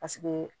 Paseke